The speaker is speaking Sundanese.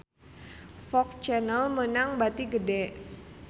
FOX Channel meunang bati gede